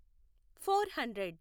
four hundred